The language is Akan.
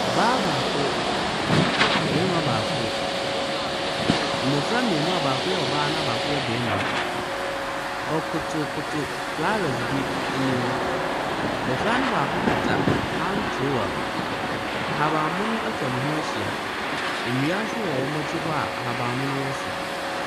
Ɔbaa baako, barima baako. Mmofra mmienu a baako yɛ ɔbaa na baako yɛ barima. Wɔkotokoto flowers bi anim. Bɔfra no baako kita hand trowel. Ahabanmono atwa wɔn ho ahyia, nnua nso wɔn akyi hɔ a ahabanmono wɔ so.